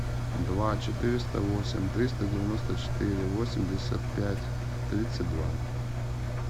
два четыреста восемь триста девяносто четыре восемьдесят пять тридцать два